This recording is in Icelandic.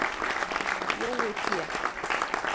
Jói Pé